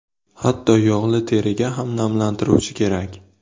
Hatto yog‘li teriga ham namlantiruvchi kerak.